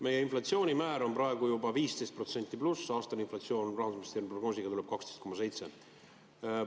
Meie inflatsioonimäär on praegu juba üle 15% ja aastane inflatsioon tuleb rahandusministri prognoosi kohaselt 12,7%.